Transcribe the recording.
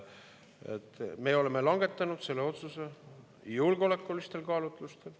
Me oleme langetanud selle otsuse julgeolekulistel kaalutlustel.